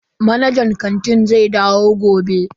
Manajan kanti zai dawo gobe.